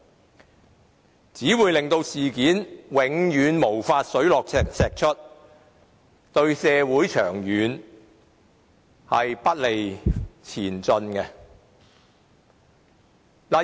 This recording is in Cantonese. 這樣只會令事件永遠無法水落石出，不利於社會的長遠前進。